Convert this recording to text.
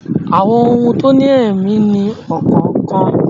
Àwọn ohun tó ní èmí ní ọkàn kan